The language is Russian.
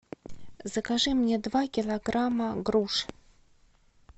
закажи мне два килограмма груш